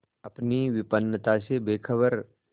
अपनी विपन्नता से बेखबर